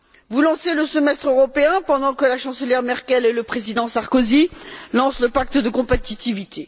Vous lancez le Semestre européen pendant que la chancelière Merkel et le président Sarkozy lancent le pacte de compétitivité.